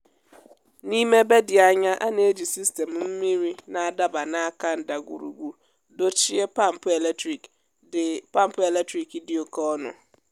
n’ime ebe dị anya a na-eji sistemụ mmiri na-adaba n’áká ndagwùrùgwù dochie pampụ eletrik dị pampụ eletrik dị oke ọnụ.